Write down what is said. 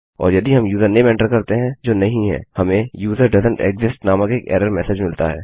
और यदि हम यूजरनेम एंटर करते हैं जो नहीं है हमें यूजर डोएसेंट एक्सिस्ट नामक एक एरर मेसेज मिलता है